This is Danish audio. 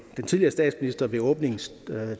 tidligere statsminister i åbningstalen i